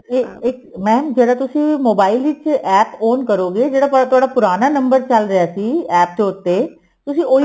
ਇਹ ਇਹ mam ਜਿਹੜਾ ਤੁਸੀਂ mobile ਵਿੱਚ APP on ਕਰੋਗੇ ਜਿਹੜਾ ਤੁਹਾਡਾ ਪੁਰਾਣਾ number ਚੱਲ ਰਿਹਾ ਸੀ APP ਦੇ ਉੱਤੇ ਤੁਸੀਂ ਉਹੀ